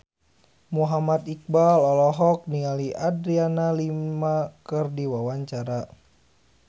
Muhammad Iqbal olohok ningali Adriana Lima keur diwawancara